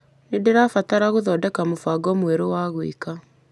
Nĩndĩrabatara gũthodeka mũbango mwerũ wa gwĩka .